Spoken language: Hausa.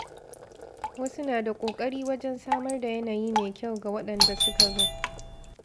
Wasu na da ƙoƙari wajen samar da yanayi mai kyau ga waɗanda suka zo.